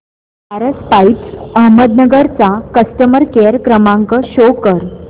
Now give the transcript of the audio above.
Paras pipes Ahmednagar चा customer care क्रमांक show करा